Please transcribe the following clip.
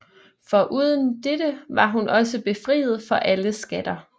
Foruden det var hun også befriet for alle skatter